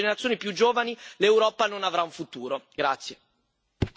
Senza un investimento massiccio sulle generazioni più giovani, l'Europa non avrà un futuro.